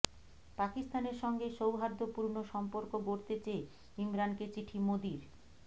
পাকিস্তানের সঙ্গে সৌহার্দ্যপূর্ণ সম্পর্ক গড়তে চেয়ে ইমরানকে চিঠি মোদির